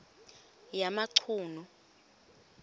yamachunu